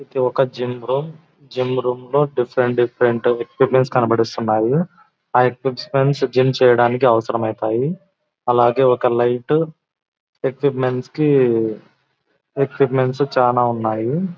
ఏది ఒక gym gym room లో డిఫరెంట్ డిఫరెంట్ ఎక్విప్మెంట్ కనపడుతున్నాయి ఆ ఎక్విప్మెంట్ జిం చేయడానికి అవసరం ఐతాయి అలాగేయ్ ఒక లైటు ఎక్విప్మెంట్ కి ఎక్విప్మెంట్ చాల ఉన్నాయి.